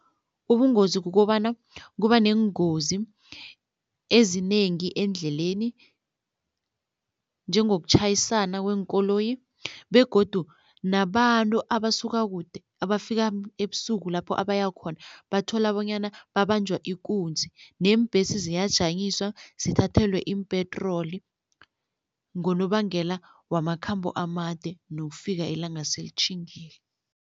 Ubungozi kukobana kuba neengozi ezinengi eendleleni, njengokutjhayisana kweenkoloyi begodu nabantu abasuka kude abafika ebusuku lapho abaya khona, bathola bonyana babanjwa ikunzi neembhesi ziyajanyiswa zithathelwe iimpetroli ngonobangela wamakhambo amade nokufika ilanga selitjhingile.